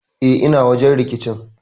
E, ina wajen rikicin.